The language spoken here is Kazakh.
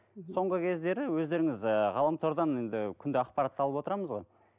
мхм соңғы кездері өздеріңіз ііі ғаламтордан енді күнде ақпаратты алып отырамыз ғой